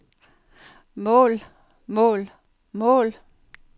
mål mål mål